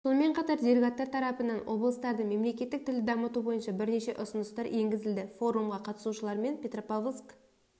сонымен қатар делегаттар тарапынан облыстарда мемлекеттік тілді дамыту бойынша бірнеше ұсыныстар енгізілді форумға қатысушылармен петропавловск